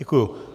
Děkuji.